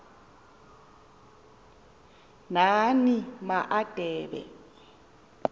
nani ma adebe